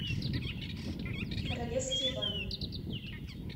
королевские бани